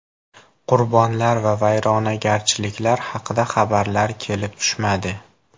Qurbonlar va vayronagarchiliklar haqida xabarlar kelib tushmadi.